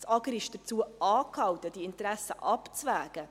Das AGR ist dazu angehalten, die Interessen abzuwägen.